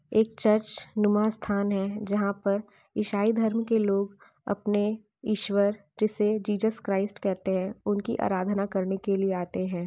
एक चर्च नुमा स्थान हैँ जहां पर ईशाई धर्म के लोग अपने ईश्वर जिसे जीज़स क्रिस्ट कहते हैं उनकी आराधना करने के लिए आते हैँ।